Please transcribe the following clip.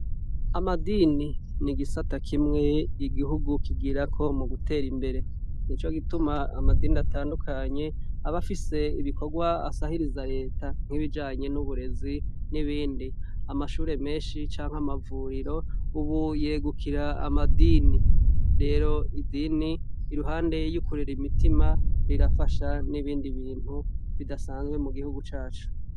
Amadini nigisata kimwe igihugu kigirako mugutera imbere nico gituma amadini atandukanye abafise ibikorwa asahiriza leta nkibijanye nuburezi nibindi amashure menshi canke amavuriro ubu yegukira amadini rero idini iruhande yo gufasha imitima rirafasha nibindi bintu bidasanzwe mu gihugu cacu